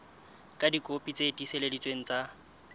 ka dikopi tse tiiseleditsweng tsa